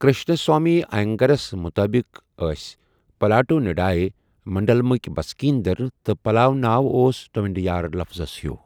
کرشناسوامی آینگرس مُطٲبق ٲسۍ پلاو ٹونڈایی منڈلمٕکۍ بسکیٖن در تہٕ پلاو ناو اوس ٹونڈایار لفظس ہیٛوٗ۔